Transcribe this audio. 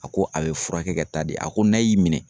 A ko a be furakɛ ka taa de, a ko n'a y'i minɛ